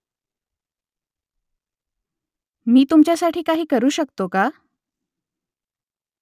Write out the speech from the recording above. मी तुमच्यासाठी काही करू शकतो का ?